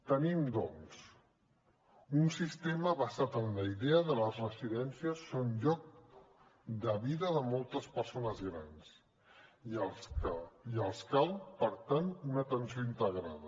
tenim doncs un sistema basat en la idea que les residències són lloc de vida de moltes persones grans i els cal per tant una atenció integrada